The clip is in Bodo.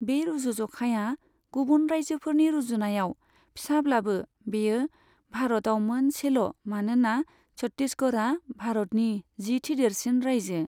बे रुजुज'खाया गुबुन रायजोफोरनि रुजुनायाव फिसाब्लाबो बेयो भारतआव मोनसेल' मानोना छत्तीसगढ़आ भारतनि जिथि देरसिन रायजो।